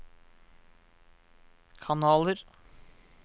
kanaler